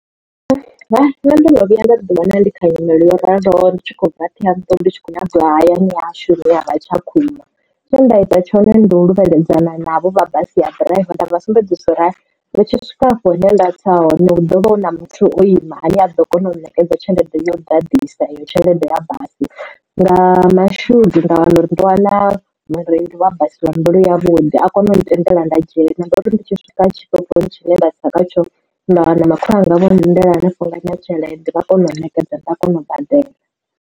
Nṋe ndo no vhuya nda ḓi wana ndi kha nyimele yo raloho ndi tshi khou bva Ṱhohoyanḓou ndi tshi khou nyaga uya hayani hahashu hune havha Tshakhuma. Tshe nda ita tshone ndi u luvheledzana navho vha basi ya ḓiraiva nda vhasumbedzisa uri ndi tshi swika afho hune nda tsa hone hu ḓovha hu na muthu o ima ane a ḓo kona u nṋekedza tshelede yo ḓadzisa iyo tshelede ya basi, nga mashudu nda wana uri ndo wana mureili wa basi wa mbilu yavhuḓi a kona u ntendela nda dzhena ndari ndi tshi swika tshitoponi tshine nda tsa kha tsho nda wana makhulu wanga vho lindela hanefhaḽa na tshelede vha kona u nṋekedza nda kona u badela.